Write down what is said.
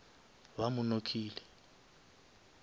ba mo knockile